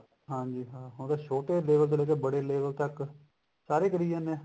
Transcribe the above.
ਹਾਂਜੀ ਹਾਂ ਹੁਣ ਛੋਟੇ ਬੜੇ ਤੋਂ ਲੇਕੇ ਬੜੇ level ਤੱਕ ਸਾਰੇ ਕਰੀ ਜਾਂਦੇ ਨੇ